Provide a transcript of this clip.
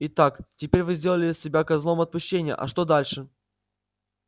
итак теперь вы сделали себя козлом отпущения а что дальше